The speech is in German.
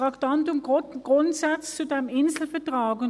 Das Thema ist «Grundsätze des Inselvertrags».